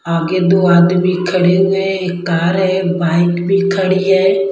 आगे दो आदमी खड़े हुए हैं एक कार है एक बाइक भी खड़ी है।